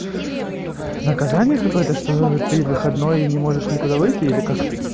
наказание какое-то что ты выходной и не можешь никуда выйти или как